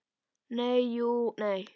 Nei, jú, nei.